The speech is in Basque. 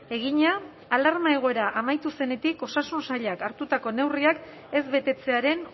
egina alarma egoera amaitu zenetik osasun sailak hartutako neurriak ez betetzearen